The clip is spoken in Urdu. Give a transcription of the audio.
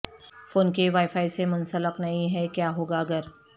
فون کے وائی فائی سے منسلک نہیں ہے کیا ہوگا اگر